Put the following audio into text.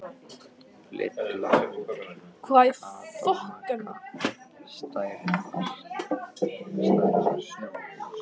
Lilla, Kata og Magga stærðar snjóhús.